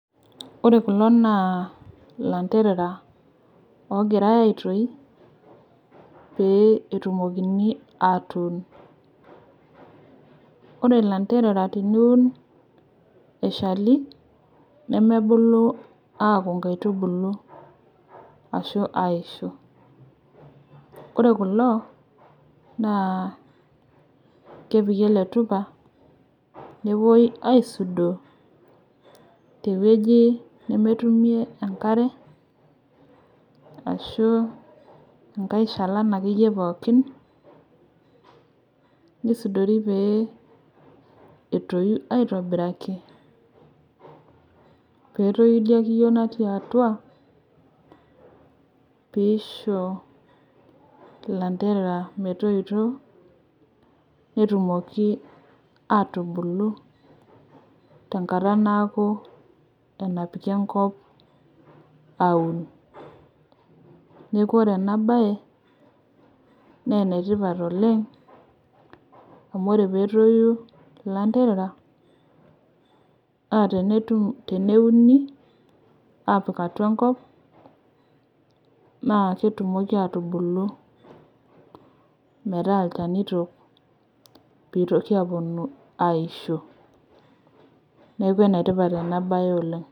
Ore kulo naa ilanterera logirai aitoi pee etumokini atun. Ore ilanterera teniun eshali nemebulu akuu inakitubulu ashu aisho. Ore kulo naa kiputi ele tupa nepoi aisudoo teweji nemetumi enkare ashu enkae shalai akeyie pookin nisudori pee etoi aitobiraki petoyu ilo kiyo looti atua peisho ilanterera metoito netumoki atubuku tenkata naaku enapiki enkop aun. Neeku ore ena baye naa enetipat oleng' amu ore peetoyu ilanterera naa teneuni apik atua enkop naa ketumoki atubulu meeta ilchanito itoku apuonu aisho. Neeku ene tipat ena baye oleng'.